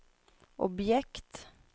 objekt